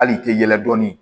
Hali i tɛ yɛlɛ dɔɔnin